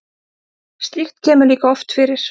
Slíkt kemur líka oft fyrir.